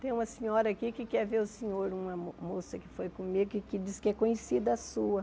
Tem uma senhora aqui que quer ver o senhor, uma mo moça que foi comigo e que diz que é conhecida sua.